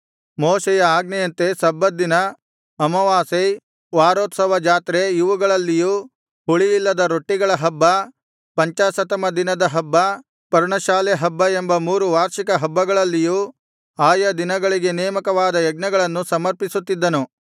ಮೋಶೆಯ ಆಜ್ಞೆಯಂತೆ ಸಬ್ಬತ್ ದಿನ ಅಮಾವಾಸ್ಯೆ ವಾರೋತ್ಸವ ಜಾತ್ರೆ ಇವುಗಳಲ್ಲಿಯೂ ಹುಳಿಯಿಲ್ಲದ ರೊಟ್ಟಿಗಳ ಹಬ್ಬ ಪಂಚಾಶತ್ತಮ ದಿನದ ಹಬ್ಬ ಪರ್ಣಶಾಲೆ ಹಬ್ಬ ಎಂಬ ಮೂರು ವಾರ್ಷಿಕ ಹಬ್ಬಗಳಲ್ಲಿಯೂ ಆಯಾ ದಿನಗಳಿಗೆ ನೇಮಕವಾದ ಯಜ್ಞಗಳನ್ನು ಸಮರ್ಪಿಸುತ್ತಿದ್ದನು